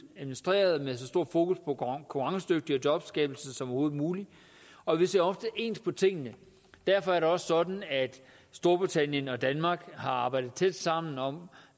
administreret med så stor fokus på konkurrencedygtighed og jobskabelse som overhovedet muligt og vi ser ofte ens på tingene derfor er det også sådan at storbritannien og danmark har arbejdet tæt sammen om